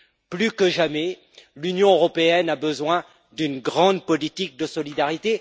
Plus que jamais, l'Union européenne a besoin d'une grande politique de solidarité.